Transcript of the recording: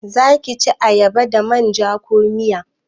Zaki ci ayaba da manja ko miya?